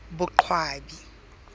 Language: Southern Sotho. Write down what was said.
boqwabi